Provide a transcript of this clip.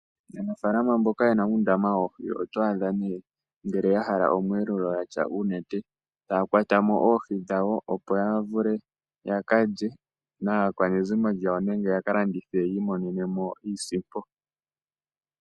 Aanafaalama mboka yena uundama woohi, oto adha nee ngele ya hala omweelelo yatya uunete taya kwata mo oohi dhawo, opo ya vule yaka lye naakwanezimo yawo nenge yaka landithe, yi imonene mo iisimpo.